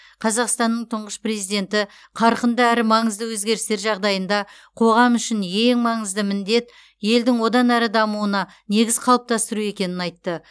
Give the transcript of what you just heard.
қазақстанның тұңғыш президенті қарқынды әрі маңызды өзгерістер жағдайында қоғам үшін ең маңызды міндет елдің одан әрі дамуына негіз қалыптастыру екенін айтты